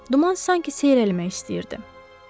Duman sanki seyrəlmək istəyirdi.